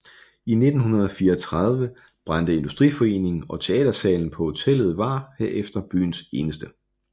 I 1934 brændte Industriforeningen og teatersalen på hotellet var herefter byens eneste